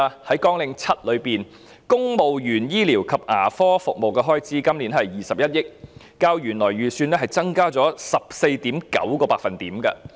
在綱領7下，今年公務員醫療及牙科服務的開支是21億元，較原來的預算增加了 14.9%。